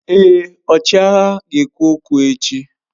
Èé, ọchịagha ga-ekwu okwu echi.